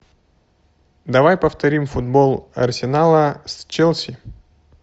давай повторим футбол арсенала с челси